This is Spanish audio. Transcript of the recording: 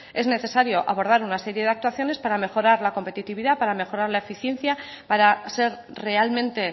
es necesario abordar una serie de actuaciones para mejorar la competitividad para mejorar la eficiencia para ser realmente